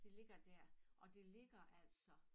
Det ligger dér og det ligger altså